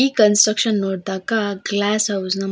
ಈ ಕನ್ಸಸ್ಟ್ರಕ್ಷನ್ ನೋಡ್ದಾಗ glass house ನ --